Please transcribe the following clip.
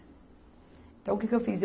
Então, o que que eu fiz?